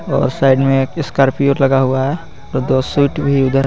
और उस साइड में एक स्कॉर्पियो लगा हुआ है। और दो स्वीट भी उधर --